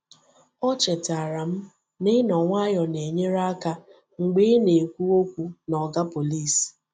Ọ chetara m na ịnọ nwayọọ na-enyere aka mgbe ị na-ekwu okwu na Oga Pọlịs.